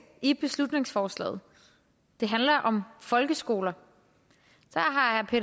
i beslutningsforslaget det handler om folkeskoler